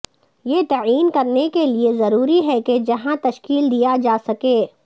یہ تعین کرنے کے لئے ضروری ہے کہ جہاں تشکیل دیا جاسکے